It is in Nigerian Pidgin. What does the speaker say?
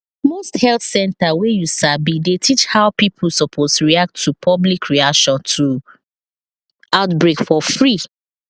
most health center wey you sabi dey teach how pipo suppose react to public reaction to outbreak for free